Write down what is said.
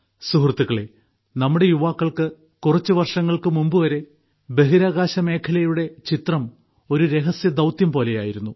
സുഹൃത്തുക്കളേ നമ്മുടെ യുവാക്കൾക്ക് കുറച്ച് വർഷങ്ങൾക്ക് മുമ്പു വരെ ബഹിരാകാശ മേഖലയുടെ ചിത്രം ഒരു രഹസ്യദൌത്യം പോലെയായിരുന്നു